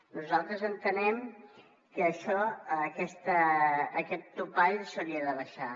nosaltres entenem que això aquest topall s’hauria d’abaixar